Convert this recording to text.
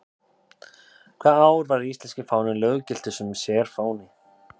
Hvaða ár var íslenski fáninn löggiltur sem sérfáni?